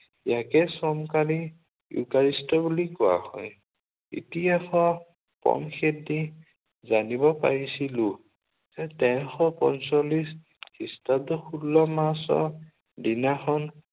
ইয়াকে চমকাৰী ইউকাৰেষ্ট বুলি কোৱা হয়। ইতিহাসৰ পম খেদি জানিব পাৰিছিলো যে তেৰশ পঞ্চল্লিশ খ্ৰীষ্টাব্দৰ ষোল্ল মাৰ্চৰ দিনাখন